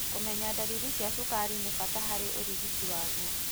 Kũmenya ndariri cia cukari ni bata harĩ ũrigiti waguo.